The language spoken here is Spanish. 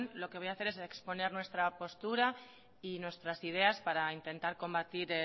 lo que voy a hacer es exponer nuestra postura y nuestras ideas para intentar combatir